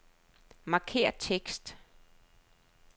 Markér tekst.